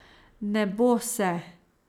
Ne bo se.